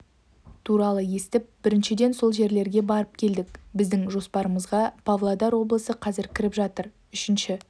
туралы естіп біріншіден сол жерлерге барып келдік біздің жоспарымызға павлодар облысы қазір кіріп жатыр үшінші